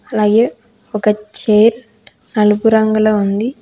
ఒక చేత్ నలుపు రంగులో ఉంది.